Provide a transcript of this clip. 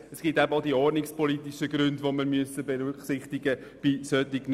Es gibt eben auch ordnungspolitische Aspekte, die wir bei solchen Vorstössen berücksichtigen müssen.